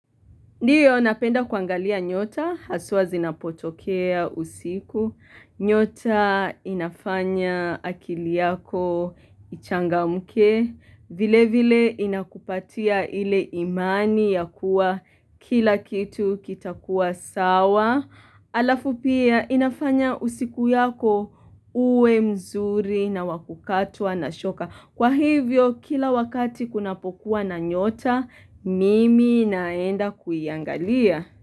Ndio napenda kuangalia nyota, haswa zinapotokea usiku. Nyota inafanya akili yako ichangamke. Vilevile inakupatia ile imani ya kuwa kila kitu kitakuwa sawa. Alafu pia inafanya usiku yako uwe mzuri na wa kukatwa na shoka. Kwa hivyo kila wakati kunapokuwa na nyota mimi naenda kuiangalia.